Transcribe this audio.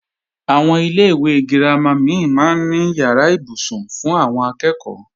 Àwọn ilé-ìwé girama mí máa ń ní ìyàrá ibùsùn fún àwọn akẹ́ẹ̀kọ́